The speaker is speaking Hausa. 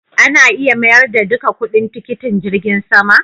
Ana iya mayar da duka kudin tikitin jirgin sama?